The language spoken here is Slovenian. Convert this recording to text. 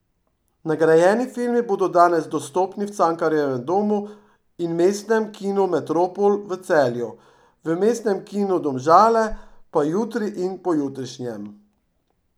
Nagrajeni filmi bodo danes dostopni v Cankarjevem domu in Mestnem kinu Metropol v Celju, v Mestnem kinu Domžale pa jutri in pojutrišnjem.